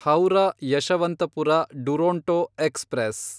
Howrah Yesvantpur Duronto express